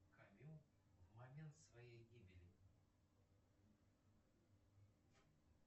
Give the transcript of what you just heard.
камю в момент своей гибели